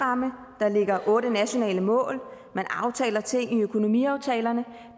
ligger og otte nationale mål og man aftaler ting i økonomiaftalerne